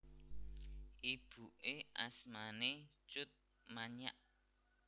Ibuké asmané Tjut Manyak